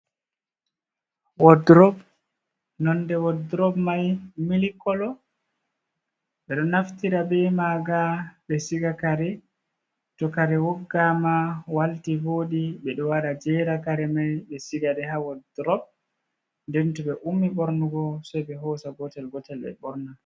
Wodrop, nonde wodrop mai mil kolo. Ɓe ɗo naftira be manga ɓe siga kare. To kare woggama walti, vooɗi, ɓe ɗo waɗa, jera kare mai. Ɓe sigaɗe ha wodrop. Nden to ɓe ummi ɓornugo se ɓe hosa gotel-gotel ɓe ɓorna.